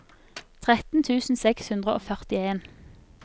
tretten tusen seks hundre og førtien